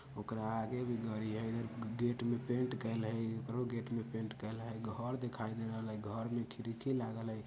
ओकरा आगे भी गरी हई ग गेट मे पेंट कइल हई एकरो गेट मे पेंट कइल हई घर देखाई दे रहल हई घर में खिड़की लागल हई।